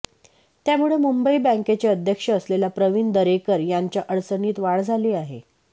त्यामुळे मुंबई बँकेचे अध्यक्ष असलेल्या प्रवीण दरेकर यांच्या अडचणीत वाढ झाली आहे